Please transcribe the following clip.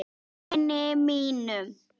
Vini mínum!